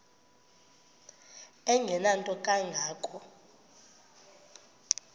engenanto kanga ko